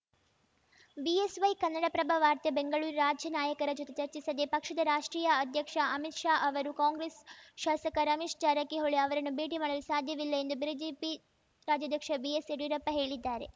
BSY Kannadaprabha ವಾರ್ತೆ ಬೆಂಗಳೂರು ರಾಜ್ಯ ನಾಯಕರ ಜೊತೆ ಚರ್ಚಿಸದೆ ಪಕ್ಷದ ರಾಷ್ಟ್ರೀಯ ಅಧ್ಯಕ್ಷ ಅಮಿತ್‌ ಶಾ ಅವರು ಕಾಂಗ್ರೆಸ್‌ ಶಾಸಕ ರಮೇಶ್‌ ಜಾರಕಿಹೊಳಿ ಅವರನ್ನು ಭೇಟಿ ಮಾಡಲು ಸಾಧ್ಯವಿಲ್ಲ ಎಂದು ಬ್ರಿಜೆಪಿ ರಾಜ್ಯಾಧ್ಯಕ್ಷ ಬಿಎಸ್‌ಯಡಿಯೂರಪ್ಪ ಹೇಳಿದ್ದಾರೆ